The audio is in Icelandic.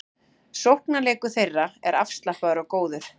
Sóknarleikur þeirra er afslappaður og góður